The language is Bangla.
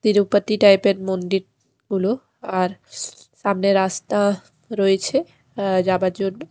তিরুপতি টাইপের মন্দিরগুলো আর সামনে রাস্তা রয়েছে যাবার জন্য ।